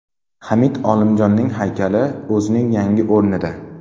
Hamid Olimjon haykali o‘zining yangi o‘rnida.